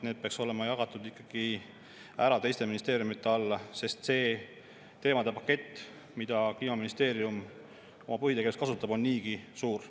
Need peaks olema ikkagi ära jagatud teiste ministeeriumide alla, sest see teemade pakett, mida Kliimaministeerium oma põhitegevuses kasutab, on niigi suur.